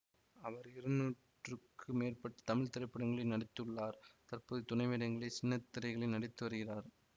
அவர் இருநூற்றுக்கும் மேற்பட்ட தமிழ் திரைப்படங்களில் நடித்துள்ளார் தற்போது துணைவேடங்களி சின்னத்திரையிலு நடித்து வருகிறார்